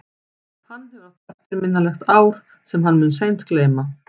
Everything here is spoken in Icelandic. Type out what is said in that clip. Hann hefur átt eftirminnilegt ár sem hann mun seint gleyma.